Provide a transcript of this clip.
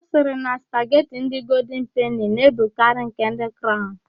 Ọ sịrị na spagheti ndị goldin peni na-ebukarị nke ndị craụn.